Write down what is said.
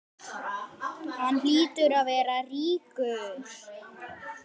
Hann hlýtur að vera ríkur.